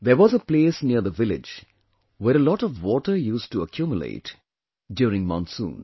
There was a place near the village where a lot of water used to accumulate during monsoon